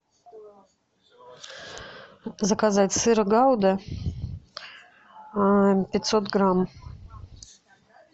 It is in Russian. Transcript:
заказать сыр гауда пятьсот грамм